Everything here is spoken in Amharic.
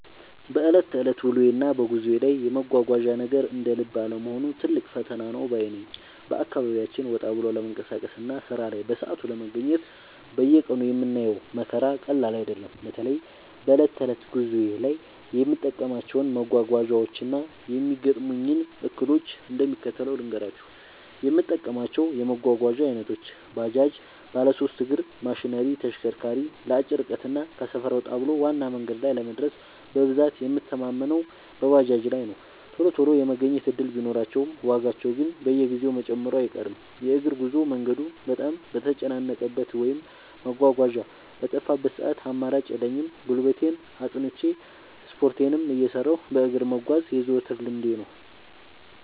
በዕለት ተዕለት ውሎዬና በጉዞዬ ላይ የመጓጓዣ ነገር እንደ ልብ አለመሆኑ ትልቅ ፈተና ነው ባይ ነኝ። በአካባቢያችን ወጣ ብሎ ለመንቀሳቀስና ሥራ ላይ በሰዓቱ ለመገኘት በየቀኑ የምናየው መከራ ቀላል አይደለም። በተለይ በዕለት ተዕለት ጉዞዬ ላይ የምጠቀማቸውን መጓጓዣዎችና የሚገጥሙኝን እክሎች እንደሚከተለው ልንገራችሁ፦ የምጠቀማቸው የመጓጓዣ ዓይነቶች፦ ባጃጅ (ባለሦስት እግር ማሽነሪ/ተሽከርካሪ)፦ ለአጭር ርቀትና ከሰፈር ወጣ ብሎ ዋና መንገድ ላይ ለመድረስ በብዛት የምንተማመነው በባጃጅ ላይ ነው። ቶሎ ቶሎ የመገኘት ዕድል ቢኖራቸውም፣ ዋጋቸው ግን በየጊዜው መጨመሩ አይቀርም። የእግር ጉዞ፦ መንገዱ በጣም በተጨናነቀበት ወይም መጓጓዣ በጠፋበት ሰዓት አማራጭ የለኝም፤ ጉልበቴን አጽንቼ፣ ስፖርቴንም እየሠራሁ በእግር መጓዝ የዘወትር ልምዴ ነው።